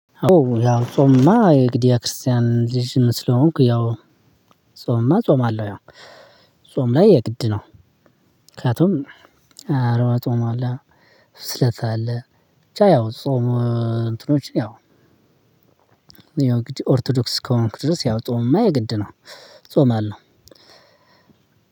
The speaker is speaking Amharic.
ያው ጾምማ የግድያ ክርስቲያን ልጅ ስለሆንኩ ያው ጾምማ እጾማለው ያው ጾም ላይ የግድ ነው። ምክንያቱም አርባ ጾም አለ ስለታ አለ ብቻ ያው ጾም። እንትኖችን ያው ኦርቶዶክስ ከሆንክ ድረስ ያው ጾምማ የግድ ነው እጾማለሁ።